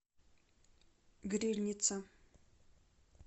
грильница